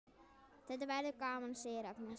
Þetta verður gaman, segir Agnes.